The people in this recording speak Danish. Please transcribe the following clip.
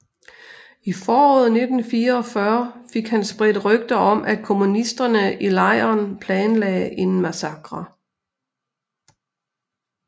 I foråret 1944 fik han spredt rygter om at kommunisterne i lejren planlagde en massakre